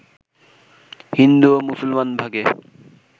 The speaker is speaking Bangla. হিন্দু ও মুসলমান ভাগে